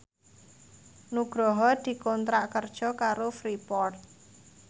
Nugroho dikontrak kerja karo Freeport